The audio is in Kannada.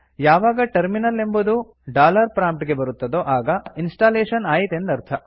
ಯಾವಾಗ ಟರ್ಮಿನಲ್ ಎಂಬುದು ಡಾಲರ್ ಪ್ರಾಮ್ಪ್ಟ್ ಗೆ ಬರುತ್ತದೊ ಆಗ ಇನ್ಸ್ಟಾಲೇಶನ್ ಆಯಿತೆಂದರ್ಥ